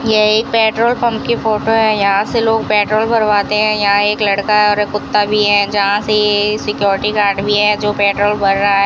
यह एक petrol pump की फोटो है यहां से लोग पेट्रोल भरवाते हैं यहां एक लड़का है और एक कुत्ता भी है जहां से ये सिक्योरिटी गार्ड भी है जो पेट्रोल भर रहा है।